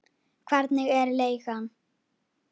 Hvernig er leigan?